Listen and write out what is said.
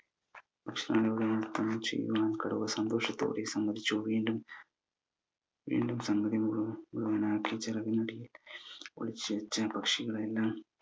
ന്രത്തം ചെയ്യുന്ന കടുവ സന്തോഷത്തോടെ സമ്മതിച്ചു വീണ്ടും വീണ്ടും സംഗതി മുഴുവ മുഴുവൻ ആയി വെച്ച പക്ഷികളെയെല്ലാം